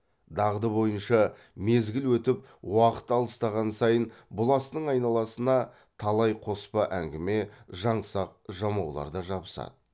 дағды бойынша мезгіл өтіп уақыт алыстаған сайын бұл астың айналасына талай қоспа әңгіме жаңсақ жамаулар да жабысады